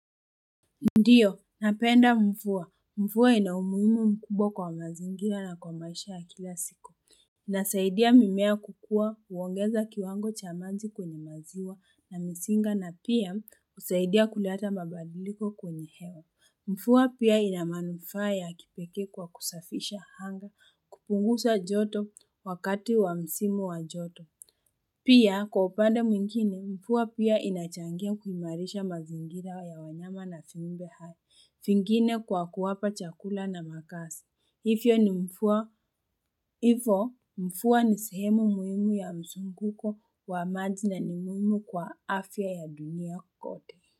Ndiyo, napenda mvua. Mvua ina umuhimu mkubwa kwa mazingira na kwa maisha ya kila siku. Inasaidia mimea kukua, huongeza kiwango cha maji kwenye maziwa na mzinga na pia husaidia kuleta mabadiliko kwenye hewa. Mvua pia ina manufaa ya kipekee kwa kusafisha anga kupunguza joto wakati wa msimu wa joto. Pia, kwa upande mwingine, mvua pia inachangia kuhimarisha mazingira ya wanyama na vumbembe hawa. Vingine kwa kuwapa chakula na makazi, hivyo ni mvua, hivo mvua ni sehemu muhimu ya mvunguko wa maji na ni muhimu kwa afya ya dunia kote.